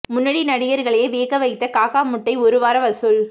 முன்னணி நடிகர்களையே வியக்க வைத்த காக்கா முட்டை ஒரு வார வசூல்